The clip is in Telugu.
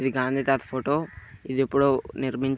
ఇది గాంధీ తట ఫోటో . ఇది ఎప్పుడో నిర్మించారు.